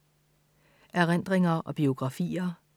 Erindringer og biografier